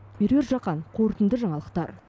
меруерт жақан қорытынды жаңалықтар